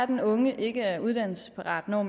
den unge ikke er uddannelsesparat når